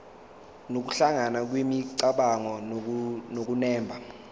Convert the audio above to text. nokuhlangana kwemicabango nokunemba